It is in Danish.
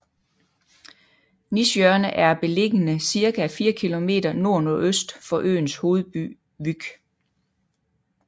Nishjørne er beligende cirka 4 kilometer nordnordøst for øens hovedby Vyk